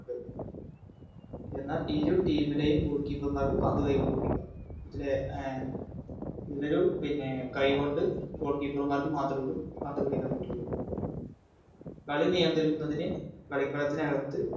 എന്നാൽ ഇരു Team ലെയും Goalkeeper മാർക്ക് പന്ത് കൈകൊണ്ട് പിടിക്കാം ഇതിലെ അഹ് ഇവര് പിന്നെ കൈകൊണ്ട് Goalkeeper മാർക്ക് മാത്രേയുള്ളു പന്ത് പിടിക്കാൻ പാറ്റൊള്ളു കളി നിയന്ത്രിക്കുന്നതിന് കളിക്കളത്തിനകത്ത്